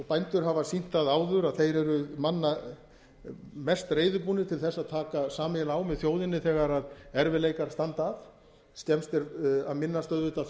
bændur hafa sýnt það áður að þeir eru manna mest reiðubúnir til þess að taka sameiginlega á með þjóðinni þegar erfiðleikar steðja að skemmst er að minnast auðvitað